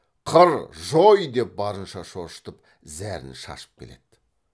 қыр жой деп барынша шошытып зәрін шашып келеді